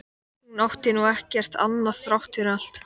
Hún átti nú ekki annað þrátt fyrir allt.